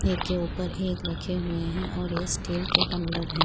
एक के ऊपर एक रखे हुए है और ये स्टील के टम्ब्लर है।